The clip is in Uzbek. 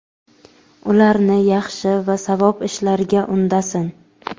ularni yaxshi va savob ishlarga undasin.